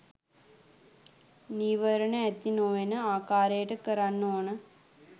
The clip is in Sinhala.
නීවරණ ඇති නොවෙන ආකාරයට කරන්න ඕනෙ.